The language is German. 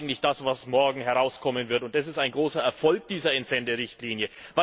Das ist eigentlich das, was morgen herauskommen wird, und das ist ein großer Erfolg dieser Entsenderichtlinie.